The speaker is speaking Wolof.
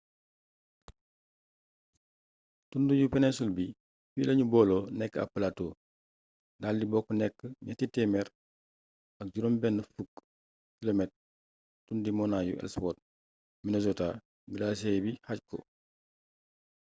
tund yu peninsul bi fii la ñu booloo nekk ab platoo daal di bokk nekk 360 km tundi monaañi ellsworth minnesota glacier bi xaaj ko